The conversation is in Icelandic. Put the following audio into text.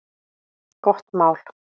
Gott mál!